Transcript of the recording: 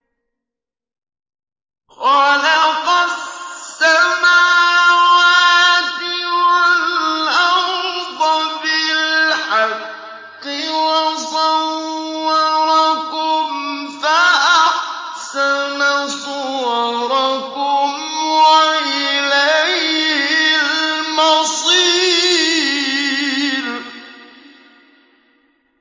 خَلَقَ السَّمَاوَاتِ وَالْأَرْضَ بِالْحَقِّ وَصَوَّرَكُمْ فَأَحْسَنَ صُوَرَكُمْ ۖ وَإِلَيْهِ الْمَصِيرُ